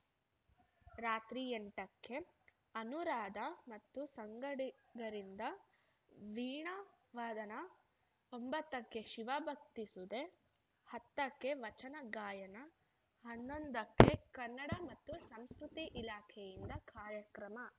ರಾತ್ರಿ ಎಂಟಕ್ಕೆ ಅನುರಾಧ ಮತ್ತು ಸಂಗಡಿಗರಿಂದ ವೀಣಾ ವದನ ಒಂಬತ್ತಕ್ಕೆ ಶಿವಭಕ್ತಿ ಸುಧೆ ಹತ್ತಕ್ಕೆ ವಚನ ಗಾಯನ ಹನ್ನೊಂದಕ್ಕೆ ಕನ್ನಡ ಮತ್ತು ಸಂಸ್ಕೃತಿ ಇಲಾಖೆಯಿಂದ ಕಾರ್ಯಕ್ರಮ